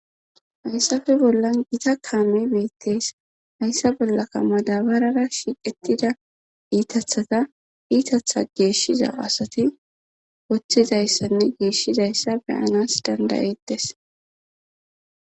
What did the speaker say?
Hayssape bollan gita kaame beettees hayssa bollaka madabarara shiqettida iitathata iitatha geeshshiza asati woththizayssanne geeshshizayssa beyanas dandayettes.